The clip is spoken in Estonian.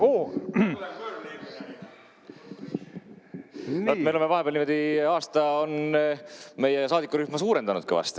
Me oleme vahepeal veidi, aasta on meie saadikurühma suurendanud kõvasti.